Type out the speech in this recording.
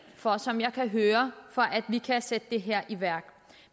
for som jeg kan høre at vi kan sætte det her i værk